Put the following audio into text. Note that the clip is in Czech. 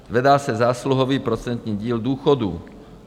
Zvedá se zásluhový procentní díl důchodů.